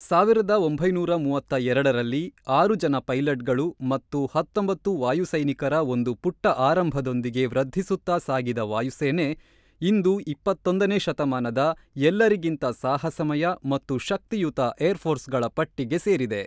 ಸಾವಿರದ ಒಂಬೈನೂರ ಮೂವತ್ತ್ ಎರಡ ರಲ್ಲಿ ಆರು ಜನ ಪೈಲಟ್ಗಳು ಮತ್ತು ಹತ್ತೊಂಬತ್ತು ವಾಯು ಸೈನಿಕರ ಒಂದು ಪುಟ್ಟ ಆರಂಭದೊಂದಿಗೆ ವೃದ್ಧಿಸುತ್ತಾ ಸಾಗಿದ ವಾಯುಸೇನೆ ಇಂದು ಇಪ್ಪತ್ತ್ ಒಂದ ನೇ ಶತಮಾನದ ಎಲ್ಲರಿಗಿಂತ ಸಾಹಸಮಯ ಮತ್ತು ಶಕ್ತಿಯುತ ಏರ್ ಫೋರ್ಸ್ಗಳ ಪಟ್ಟಿಗೆ ಸೇರಿದೆ.